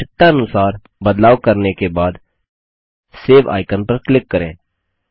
आवश्यकतानुसार बदलाव करने के बाद सेव आइकन पर क्लिक करें